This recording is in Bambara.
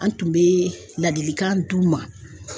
An tun bɛ ladilikan d'u ma.